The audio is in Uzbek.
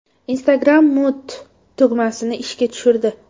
Instagram Mute tugmasini ishga tushirdi.